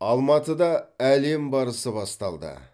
алматыда әлем барысы басталды